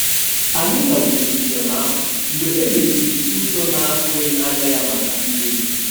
Anyị kagburu njem ahụ mgbe e mechiri ụzọ na-atụghị anya ya maka mmezi.